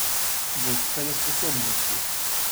Vodstvene sposobnosti.